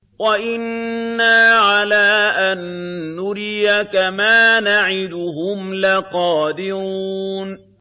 وَإِنَّا عَلَىٰ أَن نُّرِيَكَ مَا نَعِدُهُمْ لَقَادِرُونَ